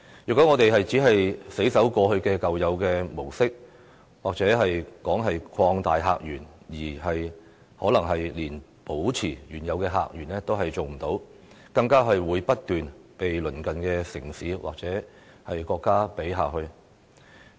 如果我們只是死守舊有的模式，莫說擴大客源，可能連保持原有的客源也做不到，更會不斷被鄰近城市或國家比下去。